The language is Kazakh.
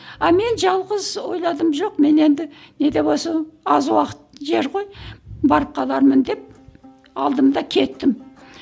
а мен жалғыз ойладым жоқ мен енді не де болса аз уақыт жер ғой барып қалармын деп алдым да кеттім